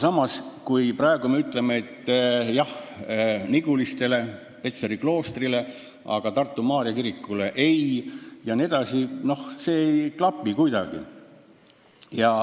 Samas, kui me praegu ütleme jah raha andmisele Niguliste ja Petseri kloostri eest, aga Tartu Maarja kirikule ütleme ei, siis see ei klapi kuidagi.